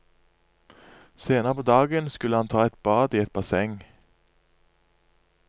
Senere på dagen skulle han ta et bad i et basseng.